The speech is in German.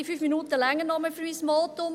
Die 5 Minuten reichen noch für mein Votum.